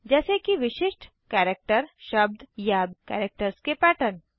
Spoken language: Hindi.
जैसे कि विशिष्ट कैरेक्टर शब्द या कैरेक्टर्स के पैटर्न